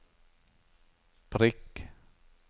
prikk